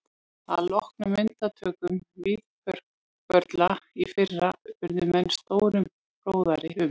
Að loknum myndatökum Víðförla í fyrra urðu menn stórum fróðari um